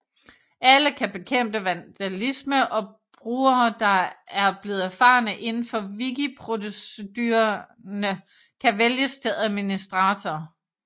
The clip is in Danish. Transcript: Alle kan bekæmpe vandalisme og brugere der er blevet erfarne indenfor wikiprocedurerne kan vælges til administratorer